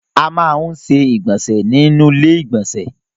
A máa ń ṣe ìgbọ̀nsẹ̀ nínú ilé ìgbọ̀nsẹ̀.